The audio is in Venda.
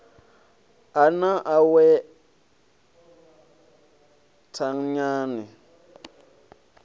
a na awe thanyani ni